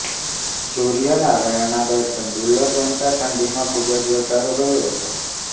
સૂર્યનારાયણના દર્શન દૂર્લભ બનતા ઠંડીમાં ખુબજ વધારો ગયો હતો